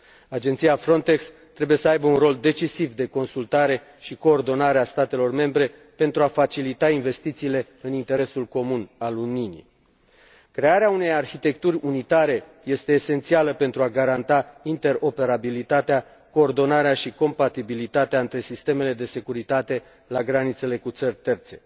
Agenția Frontex trebuie să aibă un rol decisiv de consultare și coordonare a statelor membre, pentru a facilita investițiile în interesul comun, al Uniunii. Crearea unei arhitecturi unitare este esențială pentru a garanta interoperabilitatea, coordonarea și compatibilitatea între sistemele de securitate la granițele cu țări terțe.